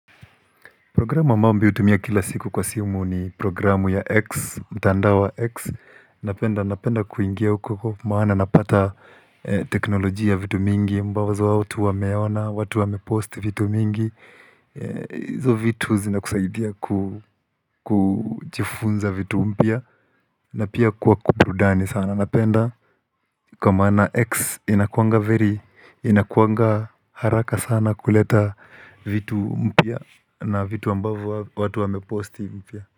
Programu ambao mimi hutumia kila siku kwa simu ni programu ya X, mtandao wa X Nanipenda kuingia uku uko maana napata eee teknolojia vitu mingi ambawazo watu wameona, watu wamepost vitu mingi eeeee hizo vitu zinakusaidia ku kujifunza vitu mpya na pia kuwa kuburudani sana napenda kwa manaa X inakuanga veri, inakuanga haraka sana kuleta vitu mpya na vitu ambavo watu wameposti mpya.